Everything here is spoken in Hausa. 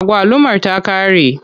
Agwalumar ta ƙare.